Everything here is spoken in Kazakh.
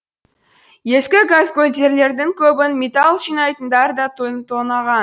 ескі газгольдерлердің көбін металл жинайтындар да тонаған